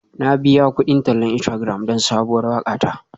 Na biya kudin tallan Instagram don sabuwar waƙa ta.